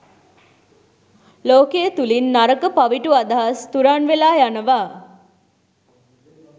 ලෝකය තුළින් නරක, පවිටු, අදහස් තුරන් වෙලා යනවා.